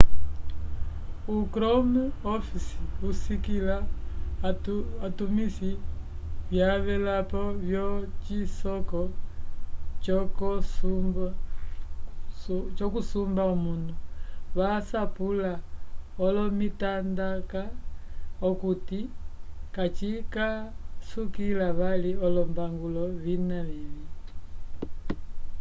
o crowm office isukila atumisi vyavelapo vyocisoko c'okusomba omanu vasapula olomitandaka okuti kacikasukila vali olombangulo vina vĩvi